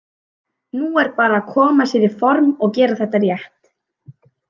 Nú er bara að koma sér í form og gera þetta rétt.